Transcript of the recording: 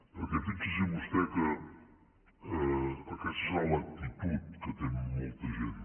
perquè fixi s’hi vostè que aquesta serà l’actitud que té molta gent